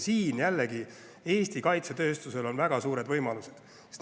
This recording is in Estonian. Siin on jällegi Eesti kaitsetööstusel väga suured võimalused.